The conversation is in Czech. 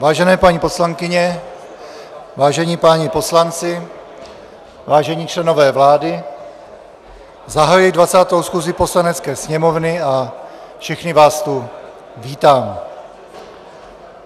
Vážené paní poslankyně, vážení páni poslanci, vážení členové vlády, zahajuji 20. schůzi Poslanecké sněmovny a všechny vás tu vítám.